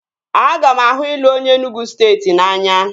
Aga m ahụ ịlụ onye Enugwu steeti n'anya